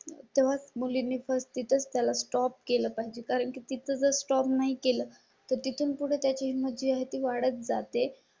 मुली पती तच त्याला स्टॉप केलं पाहिजे. कारण की तुझा स्टॉप नाही केलं तिथून पुढे त्या ची मर्जी आहे ती वाढत जाते